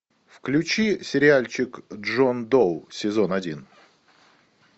включи сериальчик джон доу сезон один